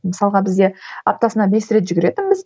мысалға бізде аптасына бес рет жүгіретінбіз